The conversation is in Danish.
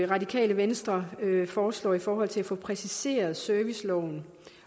radikale venstre foreslår i forhold til at få præciseret serviceloven